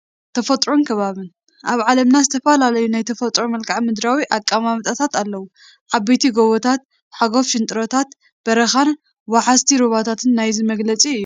ተፈጥሮን ከባብን፡- ኣብ ዓለምና ዝተፈላለዩ ናይ ተፈጥሮ መልክዓ ምድራዊ ኣቀማምጣታት ኣለው፡፡ ዓበይቲ ጎቦታት፣ ሓጓፍ ሽንጥሮታት፣ በረኻታት፣ ወሓዝቲ ሩባታትን ናይዚ መግለፂ እዮም፡፡